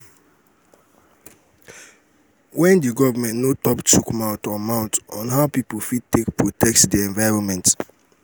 when di government notop chook mouth on mouth on how pipo fit take protect di environment